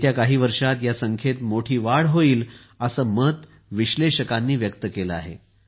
येत्या काही वर्षांत या संख्येत मोठी वाढ होईल असे मत विश्लेषकांनी व्यक्त केले आहे